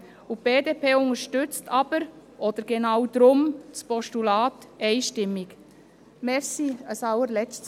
Die BDP unterstützt aber, oder genau deshalb, einstimmig das Postulat.